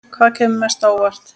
Hvaða kemur mest á óvart?